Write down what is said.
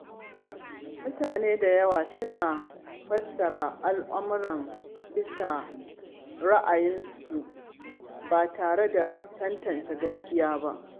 Mutane da yawa suna fassara al’amura bisa ra’ayin kansu ba tare da tantance gaskiya ba.